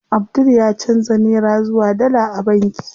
Abdul ya canza nera zuwa dala a banki.